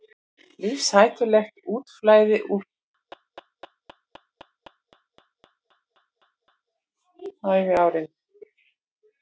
Lífshættulegt útflæði úr gollurshúsi kemur stundum fyrir á fyrsta æviárinu.